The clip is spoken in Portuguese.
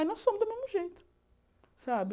Aí nós fomos do mesmo jeito. Sabe